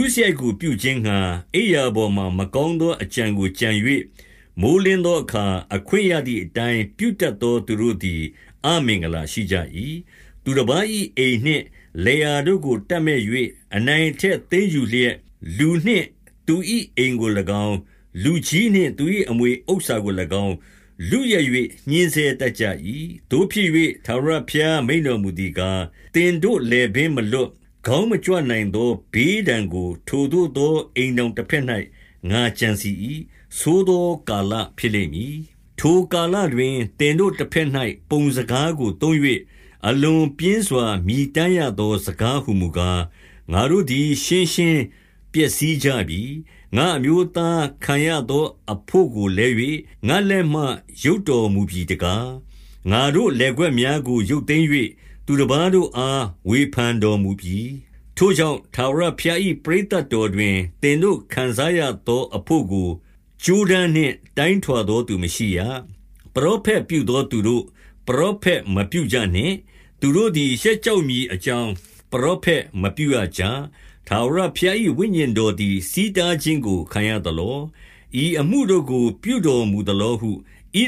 ုစရိုက်ကို ပြုခြင်းငှါ အိပ်ရာပေါ်မှာ မကောင်း သော အကြံကိုကြံ၍၊ မိုဃ်းလင်းသောအခါ အခွင့်ရသည် အတိုင်း ပြုတတ်သော သူတို့သည် အမင်္ဂလာရှိကြ၏။ 2 သူတပါး၏အိမ်နှင့် လယ်ယာတို့ကို တပ်မက်၍ အနိုင်အထက်သိမ်းယူလျက်၊ လူနှင့်သူ၏အိမ်ကို၎င်း၊ လူကြီးနှင့်သူ၏အမွေဥစ္စာကို၎င်း လုယက်၍ ညှဉ်းဆဲ တတ်ကြ၏။ 3 သို့ဖြစ်၍ ထာဝရဘုရား မိန့်တော်မူသည်ကား၊ သင်တို့လည်ပင်းမလွတ်၊ ခေါင်းမကြွနိုင်သော ဘေးဒဏ် ကို ထိုသို့သော အိမ်ထောင်တဘက်၌ ငါကြံစည်၏။ ဆိုးသောကာလဖြစ်လိမ့်မည်။ 4 ထိုကာလတွင် သင်တို့ တဘက်၌ ပုံစကားကို သုံး၍၊ အလွန်ပြင်းစွာ မြည်တမ်းရသော စကားဟူမူကား၊ ငါတို့သည် ရှင်းရှင်းပျက်စီးကြပြီ။ ငါ့အမျိုးသား ခံစားရ သော အဘို့ကိုလဲ၍ ငါ့လက်မှ ရုပ်တော်မူပြီတကား။ ငါတို့ လယ်ကွက်များကို ရုပ်သိမ်း၍၊ သူတပါးတို့အား ဝေဖန် တော်မူပြီ။ 5 ထိုကြောင့်၊ ထာဝရဘုရား၏ပရိသတ်တော်တွင်၊ သင်တို့ ခံစားရသောအဘို့ကို ကြိုးတန်းနှင့် တိုင်းထွာသောသူ မရှိရ။ 6 ပရောဖက်ပြုသော သူတို့၊ ပရောဖက်မပြုကြ နှင့်။ သူတို့သည် ရှက်ကြောက်မည်အကြောင်း ပရောဖက် မပြုရကြ။ 7 ထာဝရဘုရား၏ဝိညာဉ်တော်သည် ဆီးတား ခြင်းကို ခံရသလော။ ဤအမှုတို့ကို ပြုတော်မူသလောဟု ဣ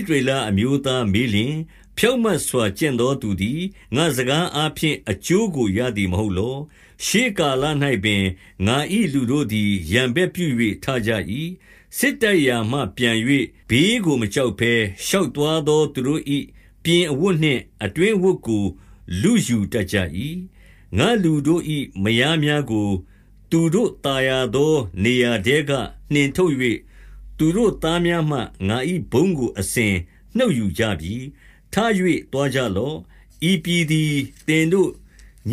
သရေလအမျိုးသားမေးလျှင်၊ ဖြောင့်မတ်စွာ ကျင့်သော သူသည် ငါ့စကားအားဖြင့် အကျိုးကို ရသည်မဟုတ် လော။ 8 ရှေးကာလ၌ပင် ငါ၏လူတို့သည် ရန်ဘက်ပြု၍ ထကြ၏။ စစ်တိုက်ရာမှ ပြန်၍ ဘေးကိုမကြောက်ဘဲ၊ ရှောက်သွားသောသူတို့၏ ပြင်အဝတ်နှင့် အတွင်းအဝတ် ကို လုယူတတ်ကြ၏။ 9 ငါ့လူတို့၏မယားများကို သူတို့သာယာသော နေရာထဲက နှင်ထုတ်၍၊ သူတို့သားများမှ ငါ၏ဘုန်းကို အစဉ်နှုတ်ယူ ကြပြီ။ 10 ထ၍ သွားကြလော့။ ဤပြည်သည် သင်တို့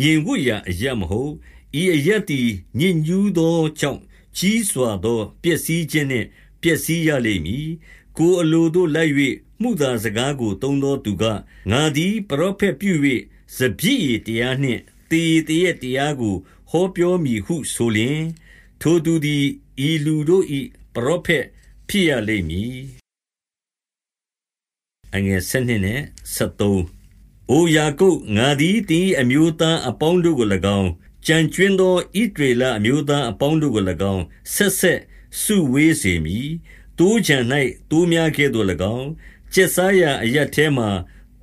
ငြိမ် ဝပ်ရာအရပ်မဟုတ်။ ဤအရပ်သည် ညစ်ညူးသော ကြောင့်ကြီးစွာသော ပျက်စီးခြင်းနှင့် ပျက်စီးရလိမ့်မည်။ 11 ကိုယ်အလိုသို့ လိုက်၍ မုသားစကားကို သုံး သော သူက၊ ငါသည် ပရောဖက်ပြု၍ စပျစ်ရည်တရား နှင့် သေရည်သေရက်တရားကို ဟောပြောမည်ဟုဆိုလျှင်၊ ထိုသူသည် ဤလူတို့၏ပရောဖက်ဖြစ်ရလိမ့်မည်။ 12 အိုယာကုပ်၊ ငါသည် သင်၏အမျိုးသားအပေါင်း တို့ကို၎င်း၊ ကျန်ကြွင်းသော ဣသရေလအမျိုးသား အပေါင်းတို့ကို၎င်း ဆက်ဆက်စုဝေးစေမည်။ သိုးခြံ၌ သိုး များကဲ့သို့၎င်း၊ ကျက်စားရာအရပ်ထဲမှာ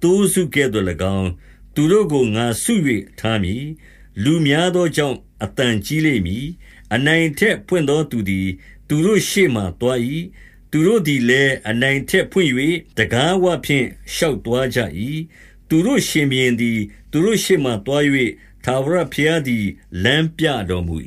သိုးစုကဲ့သို့၎င်း သူတို့ကို ငါစု၍ ထားမည်။ လူများသောကြောင့် အသံကြီး လိမ့်မည်။ 13 အနိုင်အထက်ဖွင့်သောသူသည် သူတို့ရှေ့မှာ သွား၏။ သူတို့သည်လည်း အနိုင်အထက် ဖွင့်၍ တံခါးဝ ဖြင့် ရှောက်သွားကြ၏။ သူတို့ ရှင်ဘုရင်သည် သူတို့ရှေ့ မှာသွား၍ ထာဝရဘုရားသည် လမ်းပြတော်မူ